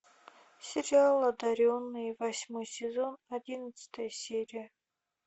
сериал одаренные восьмой сезон одиннадцатая серия